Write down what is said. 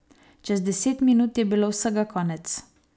Čez deset minut je bilo vsega konec.